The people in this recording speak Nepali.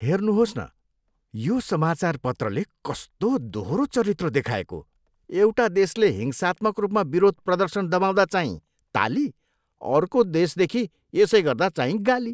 हेर्नुहोस् न, यो समाचारपत्रले कस्तो दोहोरो चरित्र देखाएको। एउटा देशले हिंसात्मक रूपमा विरोध प्रदर्शन दबाउँदा चाहिँ ताली, अर्को देशदेखि यसै गर्दा चाहिँ गाली!